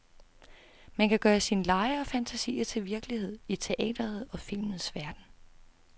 Man kan gøre sine lege og fantasier til virkelighed i teatrets og filmens verden.